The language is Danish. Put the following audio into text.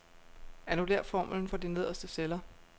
Annullér formlen for de nederste celler.